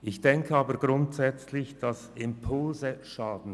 Ich denke grundsätzlich, dass Impulse nicht schaden.